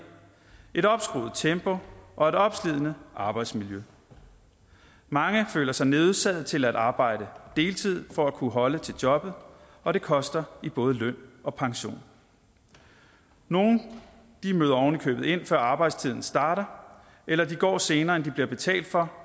et opskruet tempo og et opslidende arbejdsmiljø mange føler sig nødsaget til at arbejde deltid for at kunne holde til jobbet og det koster i både løn og pension nogle møder ind før arbejdstiden starter eller de går senere end de bliver betalt for